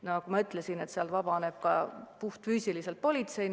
Ja nagu ma ütlesin, sealt vabaneb ka politseijõudu.